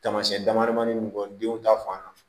Taamasiyɛn damadamanin bɔ denw ta fan